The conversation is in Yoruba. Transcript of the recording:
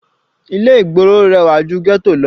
Ilé ìgboro rẹwà ju ghetto lọ.